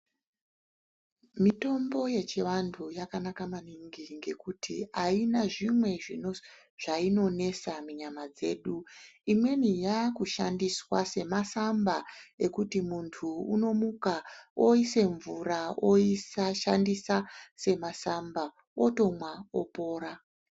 Mitombo yechivantu yakanaka maningi ngekuti haina zvimwe zvainonesa munyama dzedu. Imweni yakushandiswa semasamba ekuti muntu unomuka oise mvura, oshandisa semasamba otomwa opora.